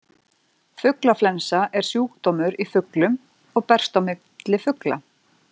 Fuglaflensa er sjúkdómur í fuglum og berst á milli fugla.